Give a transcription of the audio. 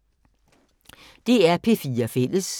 DR P4 Fælles